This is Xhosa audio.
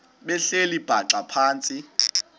behleli bhaxa phantsi